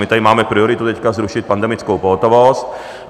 My tady máme prioritu teď zrušit pandemickou pohotovost.